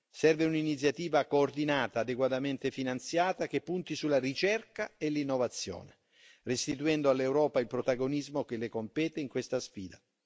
Serve un'iniziativa coordinata, adeguatamente finanziata, che punti sulla ricerca e l'innovazione, restituendo all'Europa il protagonismo che le compete in questa sfida.